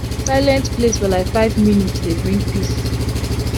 silent place for like five minute dey bring peace